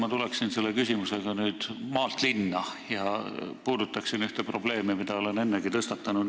Ma tulen selle küsimusega nüüd maalt linna ja puudutan ühte probleemi, mida olen ennegi tõstatanud.